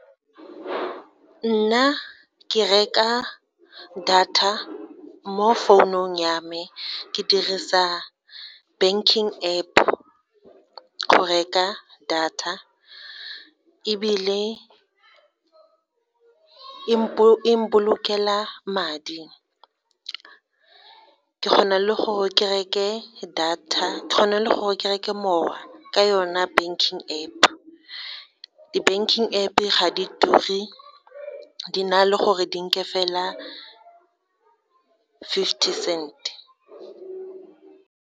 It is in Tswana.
Nna ke reka data mo founung ya me, ke dirisa banking App go reka data, ebile e mpolokela madi, ke kgona le gore ke reke data le gore ke reke mowa ka yona banking App. Di-banking App ga di ture di na le gore di nke fela fifty cent.